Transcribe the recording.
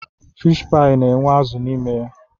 Fiish paị na-enwe azụ n'ime ya.